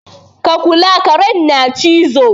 Ka kula! karen na cizo.